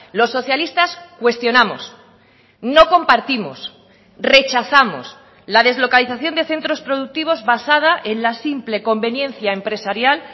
los socialistas cuestionamos no compartimos rechazamos la deslocalización de centros productivos basada en la simple conveniencia empresarial